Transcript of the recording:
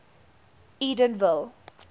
edenville